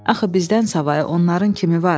Axı bizdən savayı onların kimi var?